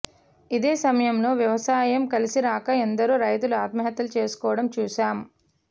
ఇదే సమయంలో వ్యవసాయం కలిసిరాక ఎందరో రైతులు ఆత్మహత్యలు చేసుకోవడం చూశాం